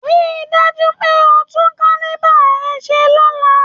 Rí i dájú pé o tún kílíbà rẹ ṣe lọ́la!